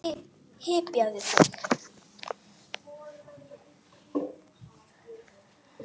Hypjaðu þig!